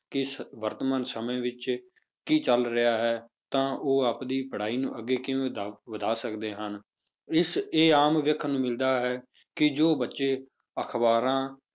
ਕਿ ਇਸ ਵਰਤਮਾਨ ਸਮੇਂ ਵਿੱਚ ਕੀ ਚੱਲ ਰਿਹਾ ਹੈ ਤਾਂ ਉਹ ਆਪਦੀ ਪੜ੍ਹਾਈ ਨੂੰ ਅੱਗੇ ਕਿਵੇਂ ਦਾ ਵਧਾ ਸਕਦੇ ਹਨ, ਇਸ ਇਹ ਆਮ ਵੇਖਣ ਨੂੰ ਮਿਲਦਾ ਹੈ ਕਿ ਜੋ ਬੱਚੇ ਅਖ਼ਬਾਰਾਂ